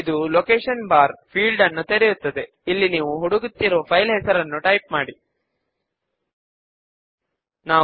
మనము ఇక్కడ లేబుల్ ను వాడి మెంబర్స్ ఒఎఫ్ తే లైబ్రరీ అని టైప్ చేస్తాము